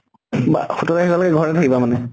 বা সোতৰ তাৰিখলৈকে ঘৰতে থাকিবা মানে?